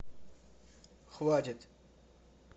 хватит